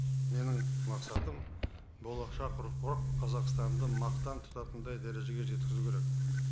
менің мақсатым болашақ ұрпақ қазақстанды мақтан тұтатындай дәрежеге жеткізу керек